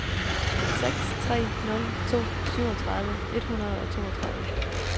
seks tre nul to syvogtredive et hundrede og toogtredive